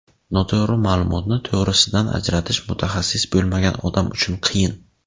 Noto‘g‘ri ma’lumotni to‘g‘risidan ajratish mutaxassis bo‘lmagan odam uchun qiyin.